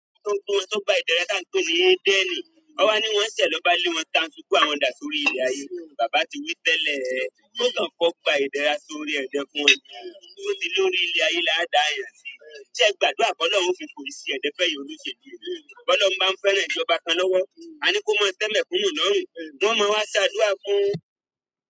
Tó ń gbó wọn tó gba ìdẹra tá ń pé ní Edeni, ọwá ni wọ́n ṣẹ̀ lọ́ba lé wọn tá ń tukú àwọn dà sórí ilé ayé. Bàbá ti wí tẹ́lẹ̀ ẹ, kó kàn kọ́ gba ìdẹra sórí ẹ̀dẹ́ fún wọn, kí ó sì lórí ilé ayé la dá èèyàn sí. Ṣé ẹ gbàdúrà pe Ọlọ́run fi korí si ẹ̀dẹ̀ fẹ́ fún olóṣèlú yìí ní. Ọlọ́run báa ń fẹ́ràn ìjọba kan lọ́wọ́, a ní kó máa tẹ́ẹ̀mẹ́kùnún lọ́rùn, wọn máa wá ṣẹ́ àdúrà fún un.